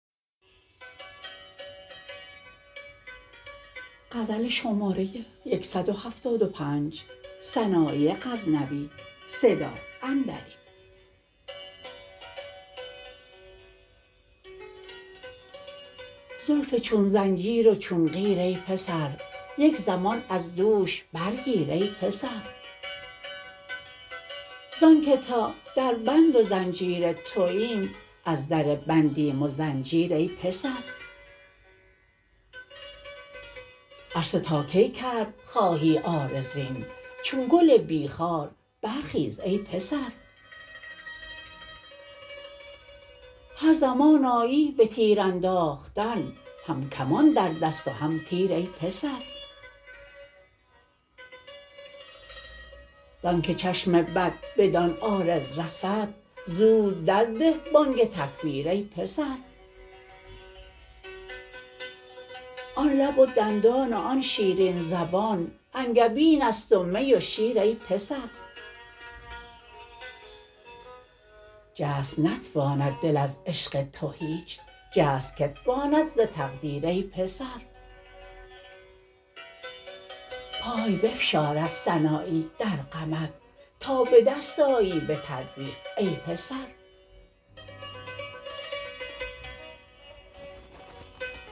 زلف چون زنجیر و چون قیر ای پسر یک زمان از دوش برگیر ای پسر زان که تا در بند و زنجیر توایم از در بندیم و زنجیر ای پسر عرصه تا کی کرد خواهی عارضین چون گل بی خار بر خیز ای پسر هر زمان آیی به تیر انداختن هم کمان در دست و هم تیر ای پسر زان که چشم بد بدان عارض رسد زود در ده بانگ تکبیر ای پسر آن لب و دندان و آن شیرین زبان انگبین ست و می و شیر ای پسر جست نتواند دل از عشق تو هیچ جست که تواند ز تقدیر ای پسر پای بفشارد سنایی در غمت تا به دست آیی به تدبیر ای پسر